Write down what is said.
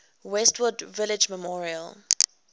westwood village memorial